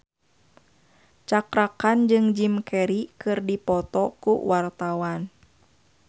Cakra Khan jeung Jim Carey keur dipoto ku wartawan